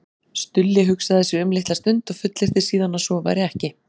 Stulli hugsaði sig um litla stund og fullyrti síðan að svo væri ekki.